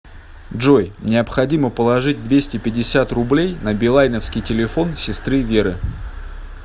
джой необходимо положить двести пятьдесят рублей на билайновский телефон сестры веры